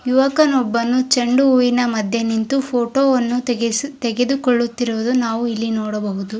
ಯುವಕನೊಬ್ಬನು ಚೆಂಡು ಹೂವಿನ ಮದ್ಯೆ ನಿಂತು ಫೊಟೊ ವನ್ನು ತೆಗೆಸಿ ತೆಗೆದುಕೊಳ್ಳುತ್ತಿರುವುದು ನಾವು ನೋಡಬಹುದು.